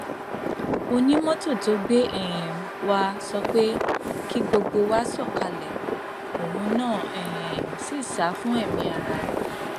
onímọtò tó gbé um wa sọ pé kí gbogbo wa sọkalẹ òun náà um sì sá fún ẹmí ara rẹ